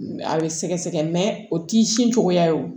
A bɛ sɛgɛsɛgɛ mɛ o t'i sin cogoya ye